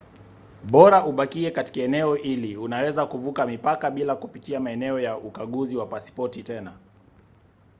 bora ubakie katika eneo hili unaweza kuvuka mipaka bila kupitia maeneo ya ukaguzi wa pasipoti tena